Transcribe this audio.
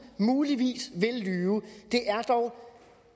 muligvis vil lyve det er dog